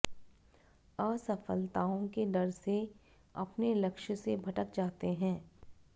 असफलताओं के डर से अपने लक्ष्य से भटक जाते हैं